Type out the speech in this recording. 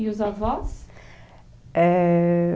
E os avós? é...